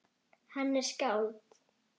Hann er skáld.